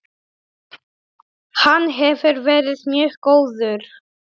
Hann hefur verið mjög góður.